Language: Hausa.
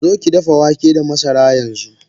Zokidafa wake da masara yanxu!